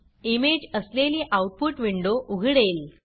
image असलेली output window उघडेल